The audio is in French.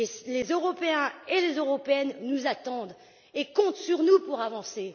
Les Européens et les Européennes nous attendent au tournant et comptent sur nous pour avancer.